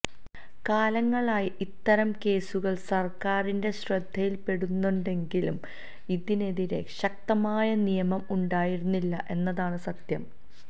കാലങ്ങളായി ഇത്തരം കേസുകള് സര്ക്കാരിന്റെ ശ്രദ്ധയില് പെടുന്നുണ്ടെങ്കിലും ഇതിനെതിരെ ശക്തമായ നിയമം ഉണ്ടായിരുന്നില്ല എന്നതാണ് സത്യം